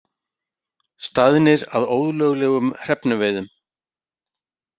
Staðnir að ólöglegum hrefnuveiðum